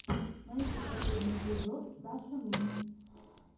найти последний эпизод сашамин